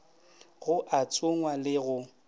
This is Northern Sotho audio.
go a tsongwa le go